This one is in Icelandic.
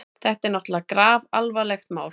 Þetta er náttúrlega grafalvarlegt mál.